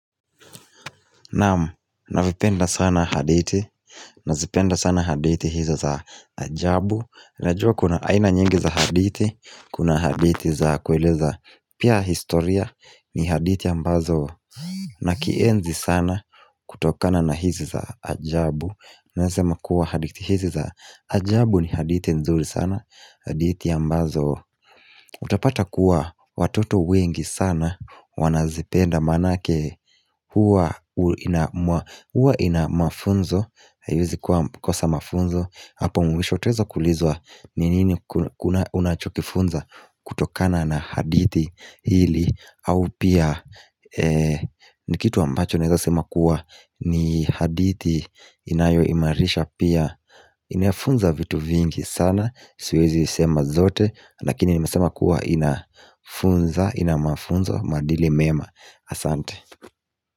Naam, navipenda sana hadithi, nazipenda sana hadithi hizo za ajabu Najua kuna aina nyingi za hadithi, kuna hadithi za kueleza Pia historia ni hadithi ambazo nakienzi sana kutokana na hizi za ajabu Naeza sema kuwa hadithi hizi za ajabu ni hadithi nzuri sana hadithi ambazo utapata kuwa watoto wengi sana Wanazipenda maanake Huwa ina mafunzo haiwezi kwa kosa mafunzo Hapo mwisho utaweza kuulizwa ni nini kuna unachokifunza kutokana na hadithi hili au pia ni kitu ambacho naeza sema kuwa ni hadithi inayoimarisha pia Inafunza vitu vingi sana Siwezi isema zote Lakini nimesema kuwa inafunza ina mafunzo maadili mema asante.